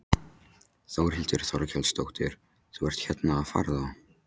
Þórhildur Þorkelsdóttir: Þú ert hérna að farða?